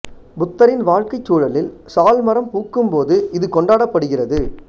புத்தரின் வாழ்க்கைச் சூழலில் சால் மரம் பூக்கும் போது இது கொண்டாடப்படுகிறது